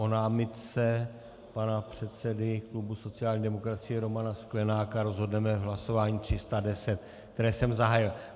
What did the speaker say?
O námitce pana předsedy klubu sociální demokracie Romana Sklenáka rozhodneme v hlasování 310, které jsem zahájil.